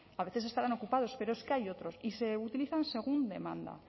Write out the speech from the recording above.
a veces estarán ocupados pero es que hay otros y se utilizan según demanda